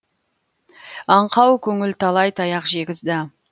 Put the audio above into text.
аңқау көңіл талай таяқ жегізді